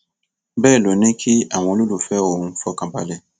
bẹẹ ló ní kí àwọn olólùfẹ òun fọkàn balẹ